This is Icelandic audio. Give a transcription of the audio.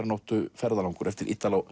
vetrarnóttu ferðalangur eftir